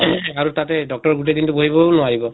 ing আৰু তাতে doctor গোটেই দিন টো বহি থাকিবও নোৱাৰিব।